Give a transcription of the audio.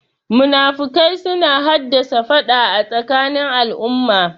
Munafukai suna hassada faɗa a tsakanin al'umma